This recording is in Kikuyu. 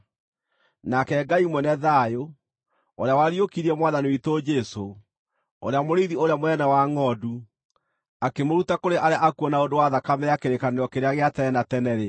Nake Ngai mwene thayũ, ũrĩa wariũkirie Mwathani witũ Jesũ, ũrĩa Mũrĩithi ũrĩa mũnene wa ngʼondu, akĩmũruta kũrĩ arĩa akuũ na ũndũ wa thakame ya kĩrĩkanĩro kĩrĩa gĩa tene na tene-rĩ,